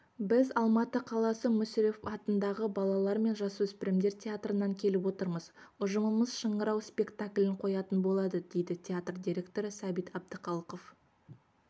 біз алматы қаласы мүсірепов атындағы балалар мен жасөспірімдер театрынан келіп отырмыз ұжымымыз шыңырау спектаклін қоятын болады дейді театр директоры сәбит әбдіхалықов